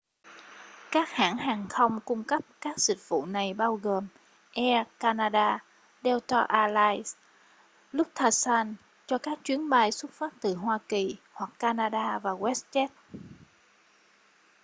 các hãng hàng không cung cấp các dịch vụ này bao gồm air canada delta air lines lufthansa cho các chuyến bay xuất phát từ hoa kỳ hoặc canada và westjet